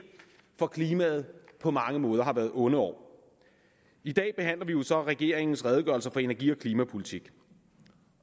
for klimaet på mange måder har været onde år i dag behandler vi jo så regeringens redegørelse for energi og klimapolitik